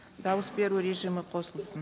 дауыс беру режимі қосылсын